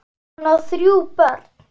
Hún á þrjú börn.